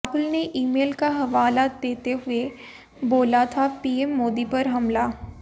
राहुल ने ईमेल का हवाला देते हुए बोला था पीएम मोदी पर हमला